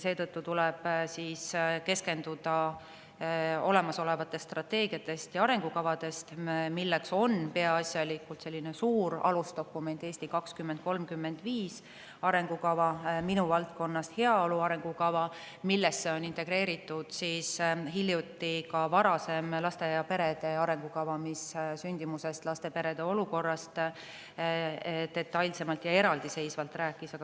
Seetõttu tuleb keskenduda olemasolevatele strateegiatele ja arengukavadele, milleks on peaasjalikult suur alusdokument, "Eesti 2035" arengukava, ja minu valdkonnast heaolu arengukava, millesse on hiljuti integreeritud varasem laste ja perede arengukava, mis rääkis sündimusest ning laste ja perede olukorrast detailselt ja eraldiseisvalt.